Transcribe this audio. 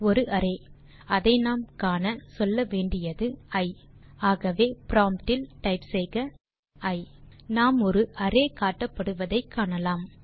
ஒரு அரே அதை நாம் காண சொல்லவேண்டியது இ ஆகவே ப்ராம்ப்ட் இல் டைப் செய்க இ நாம் ஒரு அரே காட்டப்படுவதை காணலாம்